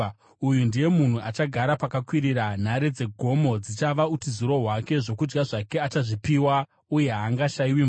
uyu ndiye munhu achagara pakakwirira, nhare dzegomo dzichava utiziro hwake. Zvokudya zvake achazvipiwa, uye haangashayiwi mvura.